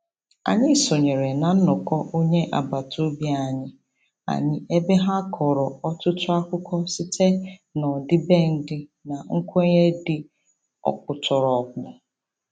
Anyị sonyere na nnọkọ onye agbataobi anyị anyị ebe ha kọrọ ọtụtụ akụkọ site n'ọdịbendị na nkwenye dị ọkpụtọrọkpụ.